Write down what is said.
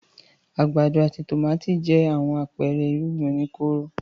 Àgbàdo àti tòmátì jẹ́ àwọn àpẹẹrẹ irúgbìn oníkóró.